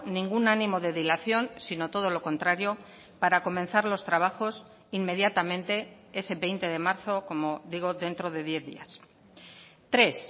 ningún ánimo de dilación sino todo lo contrario para comenzar los trabajos inmediatamente ese veinte de marzo como digo dentro de diez días tres